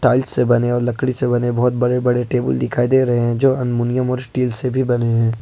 Tiles से बने और लकड़ी से बने बहुत बड़े बड़े टेबल दिखाई दे रहे हैं जो अल्मुनियम और स्टील से भी बने हैं।